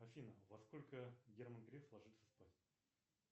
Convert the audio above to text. афина во сколько герман греф ложится спать